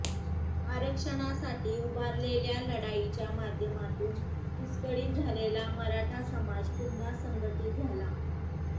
आरक्षणासाठी उभारलेल्या लढाईच्या माध्यमातून विस्कळीत झालेला मराठा समाज पुन्हा संघटीत झाला